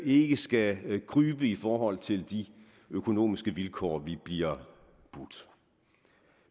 ikke skal krybe i forhold til de økonomiske vilkår vi bliver budt